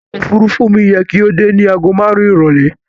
Ọkọ̀ òfuurufú mi yẹ kó dé ní àgó márùn-ún ìrọ̀lẹ́.